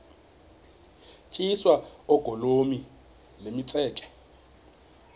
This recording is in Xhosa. tyiswa oogolomi nemitseke